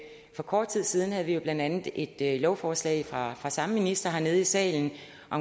for kort tid siden havde vi jo blandt andet et lovforslag fra den samme minister hernede i salen